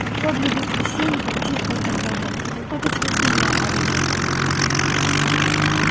торговля без священников чистая торговля это достаточно сильное оружие